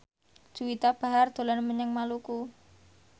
Juwita Bahar dolan menyang Maluku